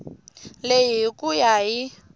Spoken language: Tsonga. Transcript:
leyi hi ku ya hi